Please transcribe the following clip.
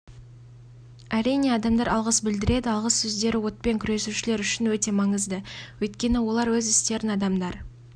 әрине адамдар алғыс білдіреді алғыс сөздері отпен күресушілер үшін өте маңызды өйткені олар өз істерін адамдар